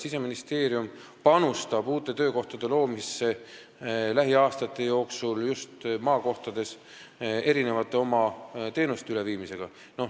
Siseministeerium panustab lähiaastatel uute töökohtade loomisse, viies oma teenuseid just maakohtadesse üle.